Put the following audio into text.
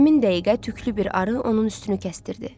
Həmin dəqiqə tüklü bir arı onun üstünü kəsdirdi.